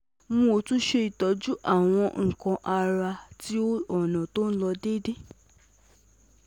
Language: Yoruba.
um O tun ṣe itọju awọn nkan ti ara rẹ ni ọna ti o um n ṣe deede